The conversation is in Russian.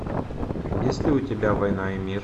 есть ли у тебя война и мир